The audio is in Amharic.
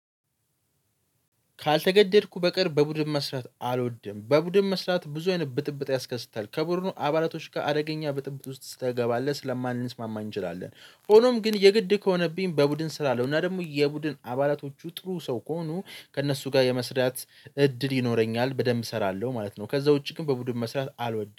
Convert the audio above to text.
ካልተገደድኩ በቀር በቡድን መስራት አልወድም። በቡድን መስራት ብዙ አይነት ብጥብጥ ያስከስታል። ከቡድኑ አባላቶች ጋር አደገኛ ብጥብጥ ውስጥ ትገባለህ ስለማንሰማማ እንችላለን። ሆኖም ግን የግድ ከሆነብኝ በቡድን ስራ አለው እና ደግሞ የቡድን አባላቶቹ ጥሩ ሰው ከሆኑ ከእነሱ ጋር የመስራት እድል ይኖረኛል በደንብ እሰራለሁ ማለት ነው። ከዛ ውጪ ግን በቡድን መስራት አልወድም።